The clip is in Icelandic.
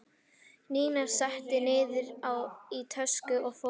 Nína setti niður í töskur og fór.